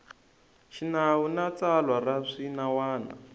xinawu na tsalwa ra swinawana